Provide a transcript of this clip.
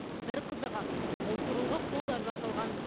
бір қызығы бұл құрылғы қолдан жасалған